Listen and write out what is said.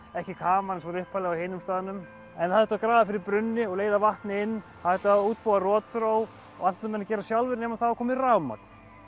ekki kamar eins og upphaflega á hinum staðnum en það þurfti að grafa fyrir brunni og leiða vatn inn það þurfti að útbúa rotþró allt þurftu menn að gera sjálfir nema það var komið rafmagn